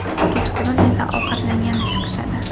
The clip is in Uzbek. Kechqurun esa ovqatlangani chiqishadi.